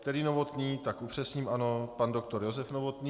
Který Novotný - tak upřesním, ano, pan doktor Josef Novotný.